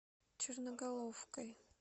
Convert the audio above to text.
черноголовкой